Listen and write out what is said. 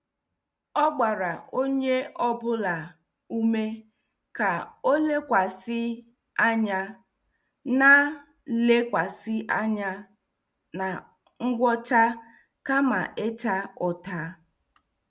O gbara onye ọ bụla ume ka ọ lekwasị anya na lekwasị anya na ngwọta kama ịta ụta.